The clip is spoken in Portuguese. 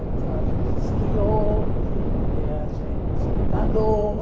Então a gente esquiou, eh a gente nadou.